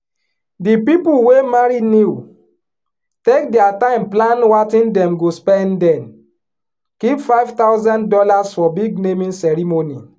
di people wey marry new take their time plan watin dem go spendden keep five thousand dollars for big naming ceremony.